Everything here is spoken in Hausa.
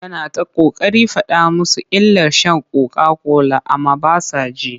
Yana ta ƙoƙarin faɗa musu illar sha kokakola amma ba sa ji.